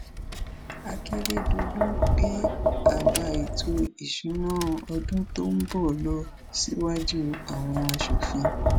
akérèdọlù gbé àbá ètò ìṣúná ọdún tó ń bọ lọ síwájú àwọn asòfin